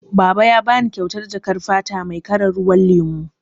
Baba ya bani kyautar jakar fata mai kalar ruwan lemu.